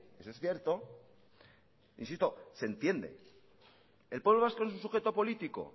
eso es cierto insisto se entiende el pueblo vasco es un sujeto político